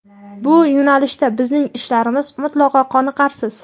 Bu yo‘nalishda bizning ishlarimiz mutlaqo qoniqarsiz.